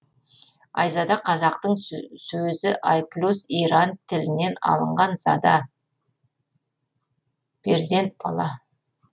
айзада қазақтың сөзі ай плюс иран тілінен алынған зада перзент бала